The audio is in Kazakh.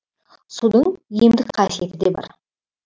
судың емдік қасиеті де бар